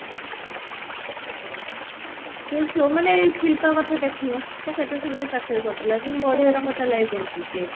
କିନ୍ତୁ ଯୋଉ ମାନେ ଏଇ ଶିଲ୍ପା କଥା ଦେଖୁନୁ ସେ କେତେ ସୁନ୍ଦର ଚାକିରି କରିଥିଲା କେତେ ବଢିଆ ତା life ବଞ୍ଚୁଛି